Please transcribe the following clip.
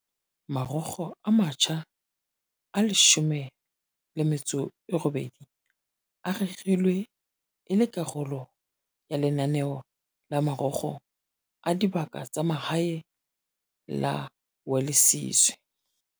Marokgo a matjha a 18 a rerilwe e le karolo ya lenaneo la Marokgo a Dibaka tsa Mahae la Welisizwe.